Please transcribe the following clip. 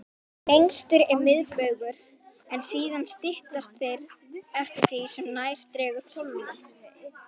Lengstur er miðbaugur, en síðan styttast þeir eftir því sem nær dregur pólunum.